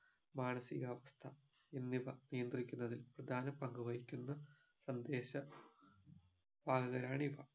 മാനസികാവസ്ഥ എന്നിവ നിയന്ത്രിക്കുന്നതിൽ പ്രധാന പങ്കു വഹിക്കുന്ന സന്ദേശ വാഹകരാണിവ